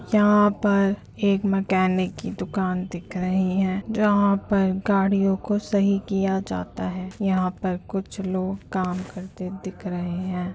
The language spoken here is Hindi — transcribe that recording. यहाँ पर एक मकैनिक दुकान दिख रही है जहाँ पर गाड़ियों को सही किया जाता है। यहाँ पर कुछ लोग काम करते दिख रहे हैं।